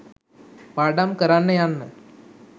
පාඩම් කරන්න යන්න